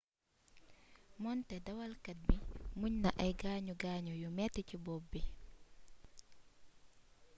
moonte dawalkat bi muñ na ay gaañu gaañuu yu metti ci bopp bi